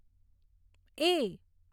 એ